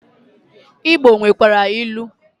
Igbo nwekwara ilu.